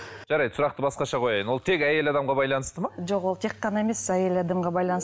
жарайды сұрақты басқаша қояйын ол тек әйел адамға байланысты ма жоқ ол тек қана емес әйел адамға